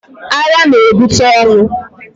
Agha na-ebute ọnwụ.